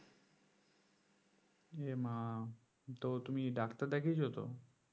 এ মা তো তুমি ডাক্তার দেখিয়েছো তো?